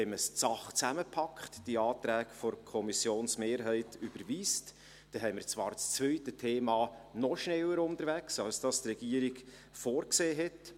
Wenn man die Sachen zusammenpackt, die Anträge der Kommissionsmehrheit überweist, dann sind wir zwar beim zweiten Thema noch schneller unterwegs, als es die Regierung vorgesehen hat.